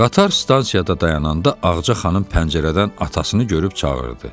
Qatar stansiyada dayananda Ağca xanım pəncərədən atasını görüb çağırdı.